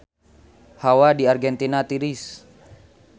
Hawa di Argentina tiris